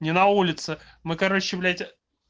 не на улице мы короче блять